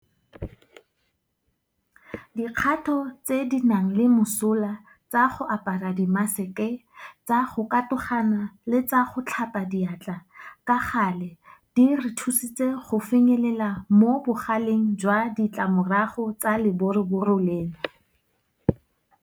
Dikgato tse di nang le mosola tsa go apara dimaseke, tsa go katogana le tsa go tlhapa diatla ka gale di re thusitse go finyelela mo bogaleng jwa ditlamorago tsa leboroboro leno.